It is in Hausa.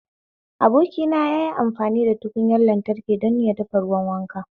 Abokina yayi amfani da butar lantraki don ya dafa ruwan wanka